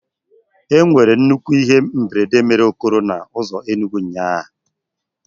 Enwere nnukwu ihe mberede mere okoro na ụzọ Enugwu ụnyahụ.